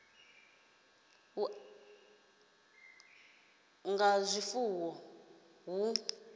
u amara ha zwifuwo hu